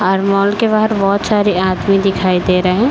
और मॉल के बाहर बहोत सारे आदमी दिखाई दे रहे हैं।